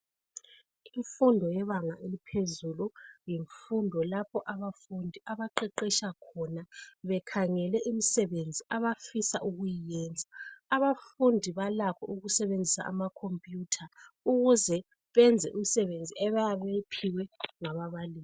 Imfundo yebanga eliphezulu, yimfundo lapho abafundi abaqeqesha khona bekhangele imisebenzi abafisa ukuyenza. Abafundi balakho ukusebenzisa amacomputer, ukuze benze imisebenzi abayabe beyiphiwe ngababalisi.